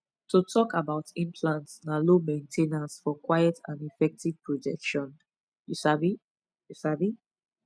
to talk about implants na low main ten ance for quiet and effective protection you sabi you sabi